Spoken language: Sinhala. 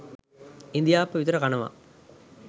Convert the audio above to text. ඉඳිආප්ප විතර කනවා